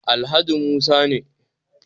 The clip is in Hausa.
Alhaji Musa ne